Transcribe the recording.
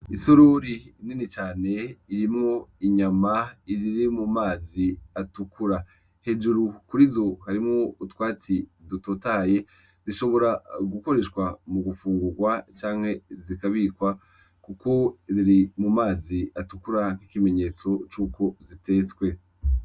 Isururi inini cane irimwo inyama iriri mu mazi atukura hejuru kuri zo harimwo utwatsi dutotaye zishobora gukoreshwa mu gufungurwa canke zikabikwa, kuko riri mu mazi atukura nk'ikimenyetso c'uko zitetswe.